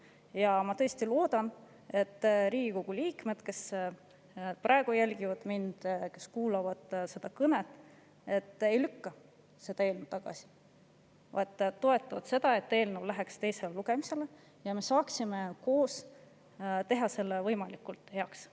Ja ma tõesti loodan, et Riigikogu liikmed, kes mind praegu jälgivad ja seda kõnet kuulavad, ei lükka seda eelnõu tagasi, vaid toetavad seda, et see eelnõu läheks teisele lugemisele ja et me koos saaksime teha selle võimalikult heaks.